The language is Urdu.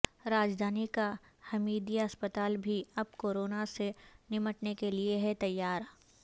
راجدھانی کاحمیدیہ اسپتال بھی اب کوروناسے نمٹنے کےلئے ہے تیار